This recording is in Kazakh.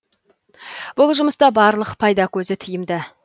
бұл жұмыста барлық пайда көзі тиімды